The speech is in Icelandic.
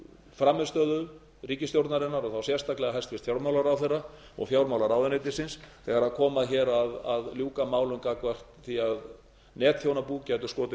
frammistöðu ríkisstjórnarinnar og þá sérstaklega hæstvirtur fjármálaráðherra og fjármálaráðuneytisins þegar komi að ljúka málum gagnvart því að starfsemi netþjónabúa geti skotið